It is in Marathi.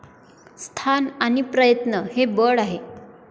स्थान आणि प्रयत्न हे बळ.